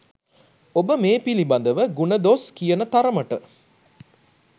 ඔබ මේ පිලිබදව ගුණ දොස් කියන තරමට